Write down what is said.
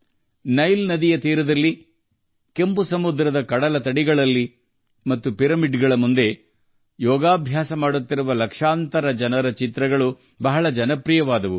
Nile ನದಿಯ ತಟದಲ್ಲಿ ಕೆಂಪು ಸಮುದ್ರದ ಕಡಲತೀರಗಳಲ್ಲಿ ಮತ್ತು ಪಿರಮಿಡ್ಗಳ ಮುಂದೆ ಲಕ್ಷಾಂತರ ಜನರು ಯೋಗ ಮಾಡುವ ಚಿತ್ರಗಳು ಬಹಳ ಜನಪ್ರಿಯವಾದವು